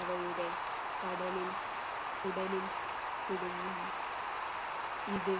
അവയുടെ കടലിൽ കുടലിൽ കുടുങ്ങുന്നു ഇത്